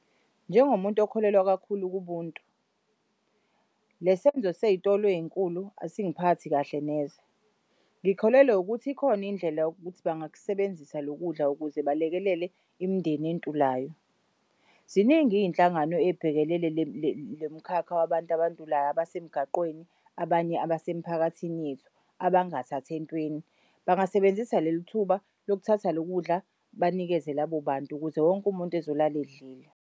Njengomuntu okholelwa kakhulu kubuntu lesenzo seyitolo ey'nkulu asingiphathi kahle neze. Ngikholelwa ukuthi ikhona indlela yokuthi bangakusebenzisa lokudla ukuze balekelele imindeni entulayo. Ziningi iy'nhlangano ey'bhekelele lo mkhakha wabantu abantulayo abasemgaqweni, abanye abasemphakathini yethu abangathath'ntweni bangasebenzisa lelithuba lokuthatha loku kudla banikeze labobantu ukuze wonke umuntu azolala edlile.